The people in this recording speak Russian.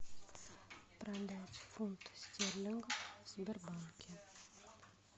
продать фунт стерлингов в сбербанке